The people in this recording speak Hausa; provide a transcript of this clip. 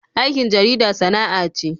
Aikin jarida sana'a ce.